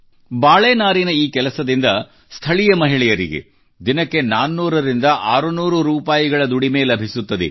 ಬಾಳೆ ನಾರಿನ ಈ ಕೆಲಸದಿಂದ ಸ್ಥಳೀಯ ಮಹಿಳೆಯರಿಗೆ ದಿನಕ್ಕೆ 400 ರಿಂದ 600 ರೂಪಾಯಿಯ ದುಡಿಮೆ ಲಭಿಸುತ್ತದೆ